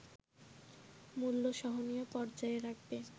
মূল্য সহনীয় পর্যায়ে রাখবে”